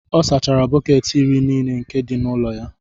ọ sachara bọket iri nile nke di n'ulo-ya